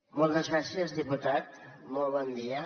moltes gràcies diputat molt bon dia